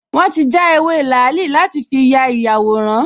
Wọ́n ti já ewé làálì láti fi ya ìyàwòrán